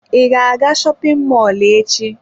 I ga-aga shopin mọlụ echi?